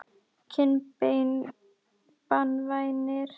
kinnbeini banvænir?